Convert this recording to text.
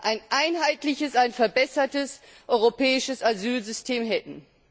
ein einheitliches, ein verbessertes europäisches Asylsystem hätten.